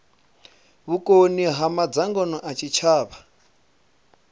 vhukoni ha madzangano a tshitshavha